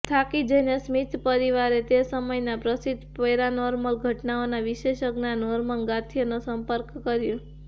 થાકી જઈને સ્મિથ પરિવારે તે સમયના પ્રસિદ્ધ પેરાનોર્મલ ઘટનાઓના વિશેષજ્ઞા નોર્મન ગાથીયરનો સંપર્ક કર્યો